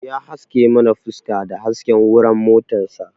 Ya haske mana fuska da hasken wuran motar sa